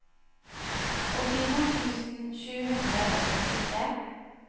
åttito tusen sju hundre og sekstitre